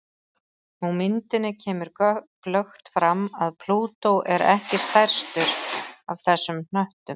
Á myndinni kemur glöggt fram að Plútó er ekki stærstur af þessum hnöttum.